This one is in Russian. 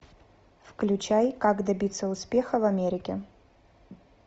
включай как добиться успеха в америке